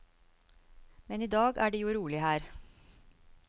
Men i dag er det jo rolig her.